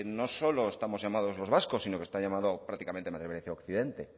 no solo estamos llamados los vascos sino que está llamado prácticamente occidente